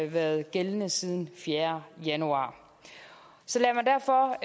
været gældende siden den fjerde januar så lad mig derfor